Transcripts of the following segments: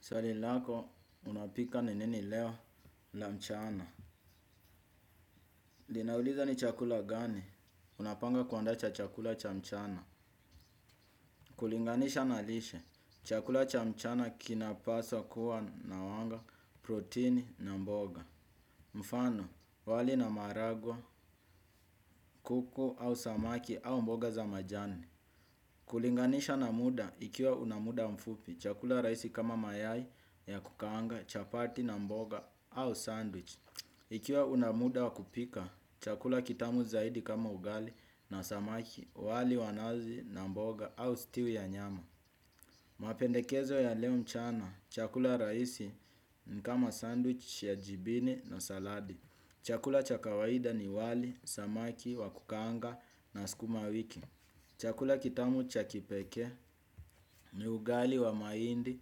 Swali lako unapika ni nini leo la mchana. Linauliza ni chakula gani. Unapanga kuandaa cha chakula cha mchana. Kulinganisha na lishe. Chakula cha mchana kinapaswa kuwa na wanga proteini na mboga. Mfano, wali na maharagwe, kuku au samaki au mboga za majani. Kulinganisha na muda ikiwa una muda mfupi. Chakula rahisi kama mayai ya kukaanga, chapati na mboga au sandwich. Ikiwa una muda wa kupika, chakula kitamu zaidi kama ugali na samaki, wali wa nazi na mboga au stiu ya nyama. Mapendekezo ya leo mchana, chakula rahisi ni kama sandwich ya jibini na saladi. Chakula cha kawaida ni wali, samaki, wa kukaanga na skuma wiki. Chakula kitamu cha kipekee ni ugali wa mahindi,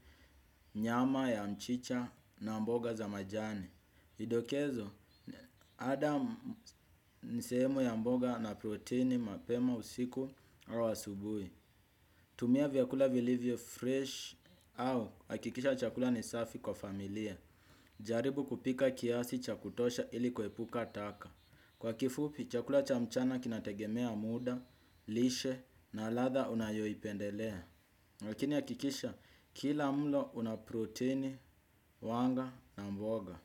nyama ya mchicha na mboga za majani. Vidokezo, ada ni sehemu ya mboga na proteini mapema usiku au asubuhi. Tumia vyakula vilivyo fresh au hakikisha chakula ni safi kwa familia. Jaribu kupika kiasi cha kutosha ili kuepuka taka. Kwa kifupi, chakula cha mchana kinategemea muda, lishe na ladha unayoi pendelea. Lakini hakikisha kila mlo una proteini, wanga na mboga.